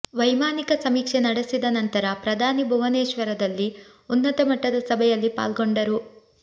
ವೈಮಾನಿಕ ಸಮೀಕ್ಷೆ ನಡೆಸಿದ ನಂತರ ಪ್ರಧಾನಿ ಭುವನೇಶ್ವರದಲ್ಲಿ ಉನ್ನತ ಮಟ್ಟದ ಸಭೆಯಲ್ಲಿ ಪಾಲ್ಗೊಂಡರು